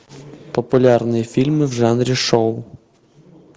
популярные фильмы в жанре шоу